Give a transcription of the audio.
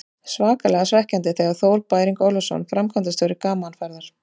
Svakalega svekkjandi, segir Þór Bæring Ólafsson, framkvæmdastjóri Gaman Ferða.